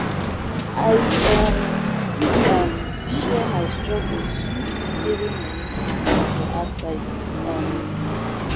I um fit um share my struggles with saving money and ask for advice. um